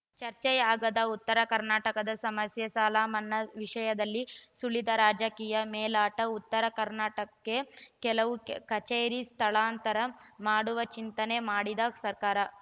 ಚರ್ಚೆಯಾಗದ ಉತ್ತರ ಕರ್ನಾಟಕದ ಸಮಸ್ಯೆ ಸಾಲಮನ್ನಾ ವಿಷಯದಲ್ಲಿ ಸುಳಿದ ರಾಜಕೀಯ ಮೇಲಾಟ ಉತ್ತರ ಕರ್ನಾಟಕಕ್ಕೆ ಕೆಲವು ಕಚೇರಿ ಸ್ಥಳಾಂತರ ಮಾಡುವ ಚಿಂತನೆ ಮಾಡಿದ ಸರ್ಕಾರ